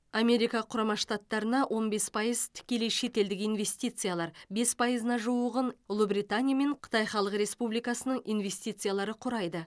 америка құрама штаттарына он бес пайыз тікелей шетелдік инвестициялар бес пайызына жуығын ұлыбритания мен қытай халық республикасының инвестициялары құрайды